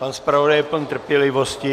Pan zpravodaj je pln trpělivosti.